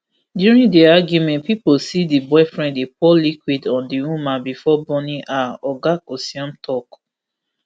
during di argument pipo see di boyfriend dey pour liquid on di woman bifor burning her oga kosiom tok